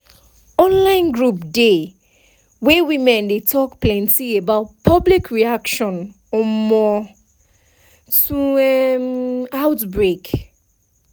online group dey wey women dey talk plenty about public reaction um to um outbreak